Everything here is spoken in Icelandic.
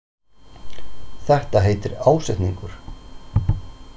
Þetta heitir ásetningur.